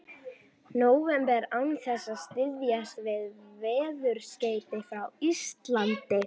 nóvember án þess að styðjast við veðurskeyti frá Íslandi.